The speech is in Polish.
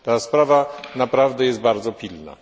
Sprawa na prawdę jest bardzo pilna.